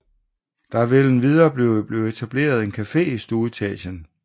Der vil endvidere blive etableret en café i stueetagen